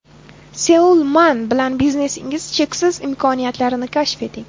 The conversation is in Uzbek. Seoul Mun bilan biznesingiz cheksiz imkoniyatlarini kashf eting!